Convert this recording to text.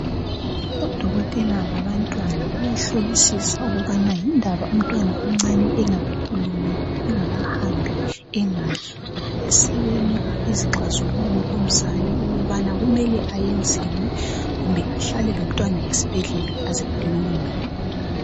odokotela babantwana bayahlolisisa ukubana yindaba umntwana omncane engakakhulumi engakahambi engadli besenika izixazululo kumzali ukubana kumele ayenzeni kumbe ahlale lomntwana esibhedlela aze alunge